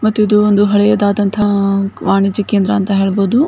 ಮತ್ತು ಇದೊಂದು ಹಳೆಯದಾದಂತಹ ವಾಣಿಜ್ಯ ಕೇಂದ್ರ ಅಂತ ಹೇಳ್ಬೋದು.